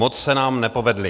Moc se nám nepovedly.